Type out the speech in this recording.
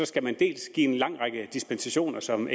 skal man dels give en lang række dispensationer som